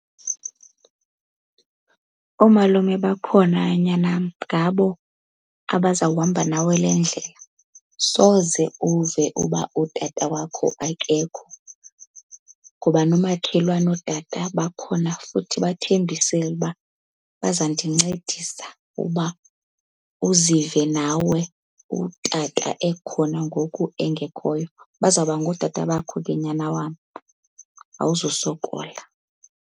Oomalume bakhona nyanam, ngabo abaza kuhamba nawe le ndlela. Soze uve uba utata wakho akekho ngoba noomakhelwane, ootata bakhona futhi bathembisile uba bazawundincedisa uba uzive nawe utata ekhona ngoku engekhoyo. Bazawuba ngootata bakho ke nyana wam awuzusokola.